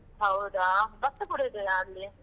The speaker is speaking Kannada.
ಹೌದಾ bus ಕೂಡಾ ಇದೆಯಾ ಅಲ್ಲಿ?